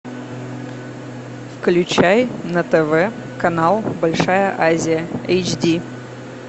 включай на тв канал большая азия эйч ди